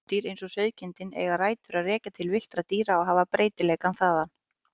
Húsdýr eins og sauðkindin eiga rætur að rekja til villtra dýra og hafa breytileikann þaðan.